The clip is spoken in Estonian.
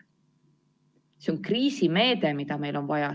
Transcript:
See on kriisimeede, mida meil on vaja.